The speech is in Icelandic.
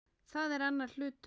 Það er annar hlutur.